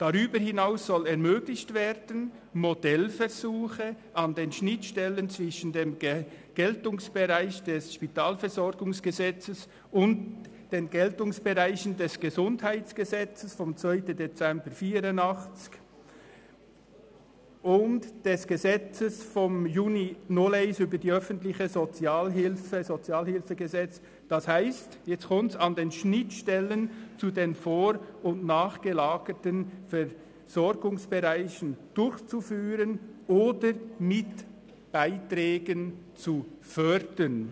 «Darüber hinaus soll ermöglicht werden, Modellversuche an den Schnittstellen zwischen dem Geltungsbereich des SpVG und den Geltungsbereichen des Gesundheitsgesetzes vom 2. Dezember 1984 [(GesG; BSG 811.01)] und des Gesetzes vom 11. Juni 2001 über die öffentliche Sozialhilfe [(Sozialhilfegesetz, SHG; BSG 860.1)], d. h. an den Schnittstellen zu den vor- und nachgelagerten Versorgungsbereichen, durchzuführen oder mit Beiträgen zu fördern.»